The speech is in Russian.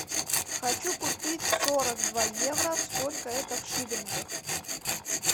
хочу купить сорок два евро сколько это в шиллингах